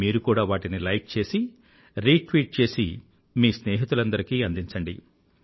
మీరు కూడా వాటిని లైక్ చేసి రీట్వీట్ చేసి మీ స్నేహితులందరికీ అందించండి